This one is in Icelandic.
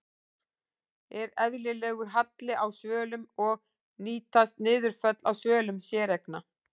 Er eðlilegur halli á svölum og nýtast niðurföll á svölum séreigna?